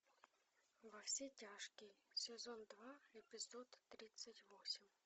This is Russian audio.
во все тяжкие сезон два эпизод тридцать восемь